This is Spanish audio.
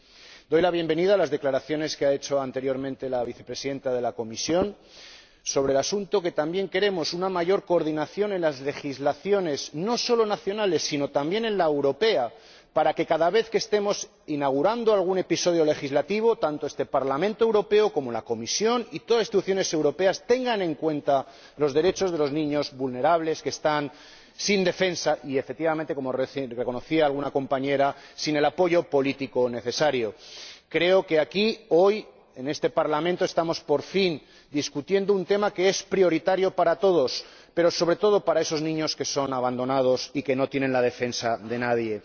Celebro las declaraciones que ha hecho anteriormente la Vicepresidenta de la Comisión sobre el asunto, porque también queremos una mayor coordinación en las legislaciones no solo nacionales, sino también en la europea para que, cada vez que estemos inaugurando algún episodio legislativo, tanto este Parlamento Europeo como la Comisión y todas las instituciones europeas tengan en cuenta los derechos de los niños vulnerables, que están sin defensa y, efectivamente, como reconocía alguna compañera, sin el apoyo político necesario. Creo que aquí hoy, en este Parlamento, estamos, por fin, debatiendo un tema que es prioritario para todos, pero sobre todo para esos niños que son abandonados y que no tienen la defensa de nadie.